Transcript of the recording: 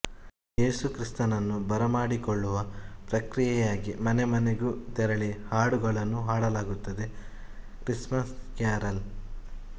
ಯೇಸುಕ್ರಿಸ್ತನನ್ನು ಬರಮಾಡಿಕೊಳ್ಳುವ ಪ್ರಕ್ರಿಯೆಯಾಗಿ ಮನೆಮನೆಗೂ ತೆರಳಿ ಹಾಡುಗಳನ್ನು ಹಾಡಲಾಗುತ್ತದೆ ಕ್ರಿಸ್ಮಸ್ ಕ್ಯಾರಲ್